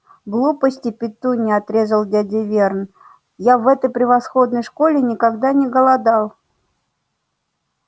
глупости петунья отрезал дядя верн я в этой превосходной школе никогда не голодал